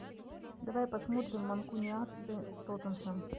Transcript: давай посмотрим манкунианцы тоттенхэм